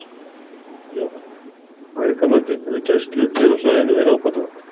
Jóhann: Að ykkar mati, hefur gæslu hér á svæðinu verið ábótavant?